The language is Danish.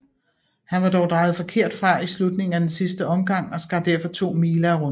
Han var dog drejet forkert fra i slutningen af den sidste omgang og skar derfor 2 mile af runden